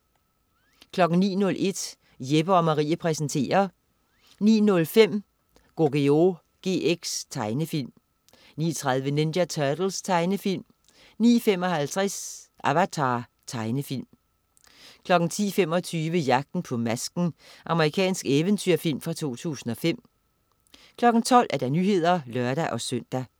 09.01 Jeppe & Marie præsenterer 09.05 Yugioh GX. Tegnefilm 09.30 Ninja Turtles. Tegnefilm 09.55 Avatar. Tegnefilm 10.25 Jagten på Masken. Amerikansk eventyrfilm fra 2005 12.00 Nyhederne (lør-søn)